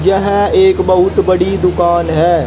यह एक बहुत बड़ी दुकान है।